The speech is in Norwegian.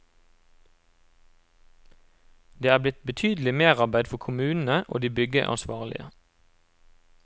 Det er blitt betydelig merarbeid for kommunene og de byggeansvarlige.